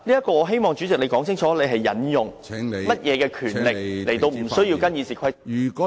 我希望主席可以解釋清楚，你究竟行使甚麼權力，而無須跟從《議事規則》呢？